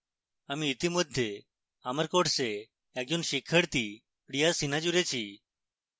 আমি ইতিমধ্যে আমার course একজন শিক্ষার্থী priya sinha জুড়েছি